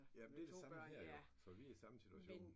Ja men det det samme her jo så vi er i samme situation